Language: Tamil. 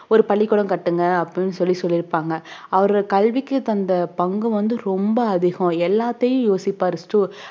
ஒரு பள்ளிக்கூடம் கட்டுங்க அப்படின்னு சொல்லி சொல்லிருப்பாங்க அவரு கல்விக்கு தந்த பங்கு வந்து ரொம்ப அதிகம் எல்லாத்தையும் யோசிப்பாரு stu~